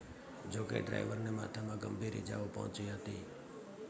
જો કે ડ્રાઇવરને માથામાં ગંભીર ઈજાઓ પહોંચી હતી